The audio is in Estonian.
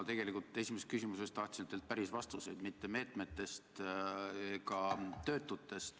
Ma tegelikult esimest küsimust esitades tahtsin teilt päris vastuseid, mitte juttu meetmetest ja töötutest.